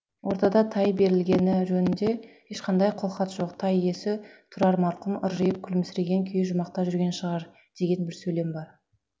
ортада тай берілгені жөнінде ешқандай қолхат жоқ тай иесі тұрар марқұм ыржиып күлімсіреген күйі жұмақта жүрген шығар деген бір сөйлем бар